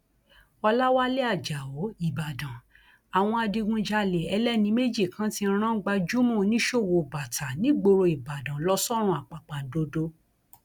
ọlàwálẹ ajáò ìbàdàn àwọn adigunjalè ẹlẹni méjì kan ti rán gbajúmọ oníṣòwò bàtà nígboro ìbàdàn lọ sọrun àpàpàǹdodo